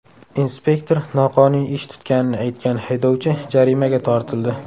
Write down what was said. Inspektor noqonuniy ish tutganini aytgan haydovchi jarimaga tortildi.